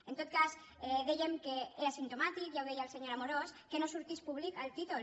en tot cas dèiem que era simptomàtic ja ho deia el senyor amorós que no sortís públic al títol